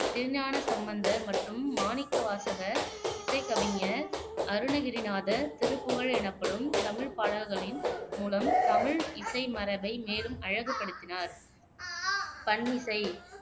திருஞான சம்பந்தர் மற்றும் மாணிக்கவாசகர். இசைக் கவிஞர் அருணகிரிநாதர் திருப்புகழ் எனப்படும் தமிழ்ப் பாடல்களின் மூலம் தமிழ் இசை மரபை மேலும் அழகுபடுத்தினார் பண்ணிசை